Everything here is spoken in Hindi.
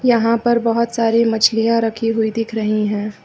यहां पर बहोत सारी मछलियां रखी हुई दिख रही है।